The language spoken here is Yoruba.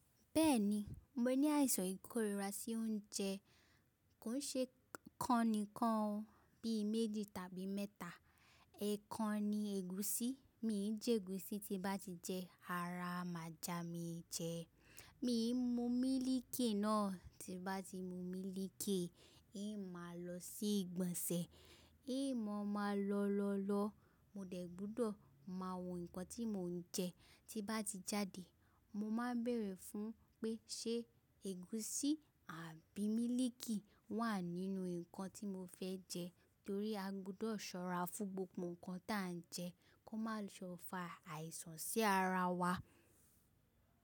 Bẹ́ẹ̀ni, mo ní àìsàn ìkóríra sí oúnjẹ, kò ṣe kọ́ni kán bí i méjì tàbí mẹ́ta. Ẹ̀ kan ni ègúsí, mí jẹ ègúsí tí bá ti jẹ ara má jà mí jẹ. Mí mú mílìkì náà, tí bá ti mú mílìkì, èyí máa lọ sí ìgbọ̀nsẹ̀, èyí mọ́ máa lọ lọ lọ, mo dẹ̀ gbọ́dọ̀ máa wo nǹkan tí mò ń jẹ. Tí bá ti jáde, mo máa bẹ̀rẹ̀ fún un pé ṣe ègúsí àbí mílìkì wà nínú nǹkan tí mo fẹ́ jẹ torí a gbọ́dọ̀ ṣọ́ra fún gbogbo nǹkan tí à ń jẹ kó má ṣe ó fa àìsàn sí ara wa.